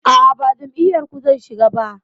A'a, ba jam'iyar ku zan shiga ba.